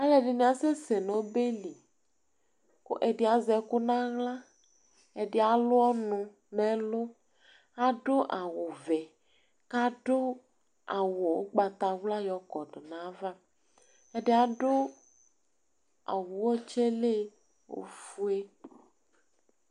Alu ɛdɩnɩ asɛsɛ nʋ ɔbɛ li, kʋ ɛdɩ azɛ ɛkʋ nʋ aɣla, ɛdɩ alu ɔnʋ nʋ ɛlʋ Adu awʋvɛ, kʋ adu awu ugbatawla yɔkɔdʋ nʋ ayava Ɛdɩ adu awu Uti yɛ lɛ ofue